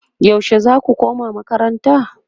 yaushe zaku koma makaranta?